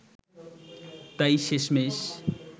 তাই শেষমেষ